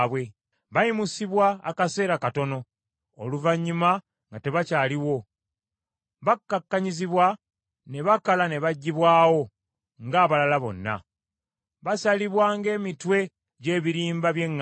Bayimusibwa akaseera katono, oluvannyuma nga tebakyaliwo. Bakkakkanyizibwa ne bakala ne baggyibwawo nga abalala bonna. Basalibwa ng’emitwe gy’ebirimba by’eŋŋaano.